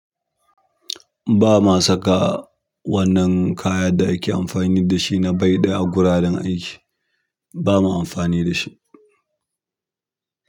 Ba ma saka wannan kayan da ake amfani da shi na baida a guraren aiki. Ba ma amfani da shi.